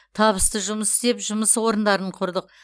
табысты жұмыс істеп жұмыс орындарын құрдық